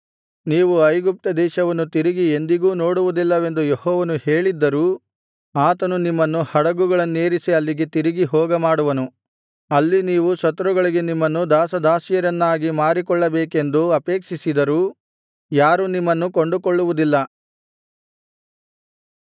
ನೀವು ಐಗುಪ್ತದೇಶವನ್ನು ತಿರುಗಿ ಎಂದಿಗೂ ನೋಡುವುದಿಲ್ಲವೆಂದು ಯೆಹೋವನು ಹೇಳಿದ್ದರೂ ಆತನು ನಿಮ್ಮನ್ನು ಹಡಗುಗಳನ್ನೇರಿಸಿ ಅಲ್ಲಿಗೆ ತಿರುಗಿ ಹೋಗ ಮಾಡುವನು ಅಲ್ಲಿ ನೀವು ಶತ್ರುಗಳಿಗೆ ನಿಮ್ಮನ್ನು ದಾಸದಾಸಿಯರನ್ನಾಗಿ ಮಾರಿಕೊಳ್ಳಬೇಕೆಂದು ಅಪೇಕ್ಷಿಸಿದರೂ ಯಾರೂ ನಿಮ್ಮನ್ನು ಕೊಂಡುಕೊಳ್ಳುವುದಿಲ್ಲ